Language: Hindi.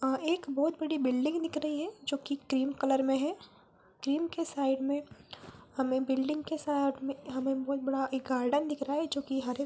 अ एक बहोत बड़ी बिल्डिंग दिख रही है जोकि क्रीम कलर में है | क्रीम के साइड में हमे बिल्डिंग के साइड में हमें बहोत बड़ा एक गार्डन दिख रहा है जोकि हरे --